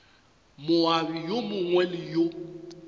moabi yo mongwe le yo